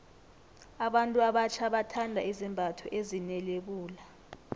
abantu abatjha bathanda izembatho ezine lebula